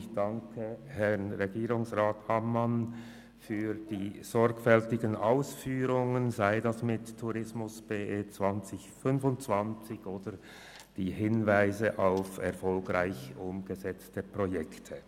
Ich danke Herrn Regierungsrat Ammann für die sorgfältigen Ausführungen betreffend «Tourismus BE 2025» und die Hinweise auf erfolgreich umgesetzte Projekte.